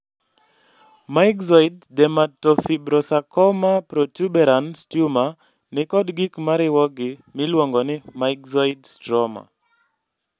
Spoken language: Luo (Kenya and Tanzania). myxoid dermatofibrosarcoma protuberans tumor nikod gik mariwogi miluongo ni myxoid stroma